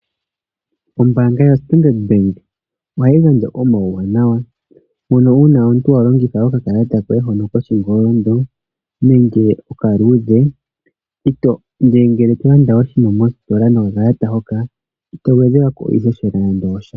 Ombanga yo Standard Bank ohayi gandja omauwanawa, moka uuna wa longitha okakalata hoka koshingolondo nenge okaluudhe, nenge ngele to landa oshinima mostola nokakalata hoka, ito gwedhelwako nando iihohela yasha.